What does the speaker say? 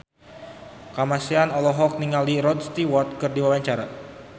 Kamasean olohok ningali Rod Stewart keur diwawancara